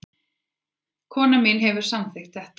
Konan mín hefur samþykkt þetta